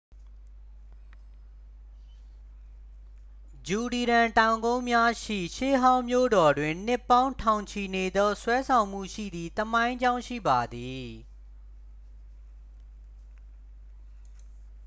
ဂျူဒီရန် တောင်ကုန်းများရှိ ရှေးဟောင်းမြို့တော်တွင် နှစ်ပေါင်းထောင်ချီနေသော ဆွဲဆောင်မှုရှိသည့်သမိုင်းကြောင်းရှိပါသည်